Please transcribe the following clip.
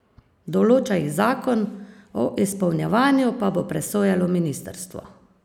Določa jih zakon, o izpolnjevanju pa bo presojalo ministrstvo.